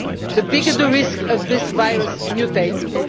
fight, the bigger the risk of this virus mutating.